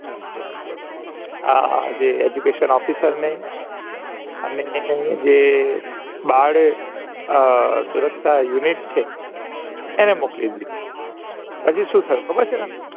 આ જે adduction officer અમને અને હું જે અ સુરક્ષા unit છે એને મોકલી દિધુ પછી સુ થયું ખબર છે તમને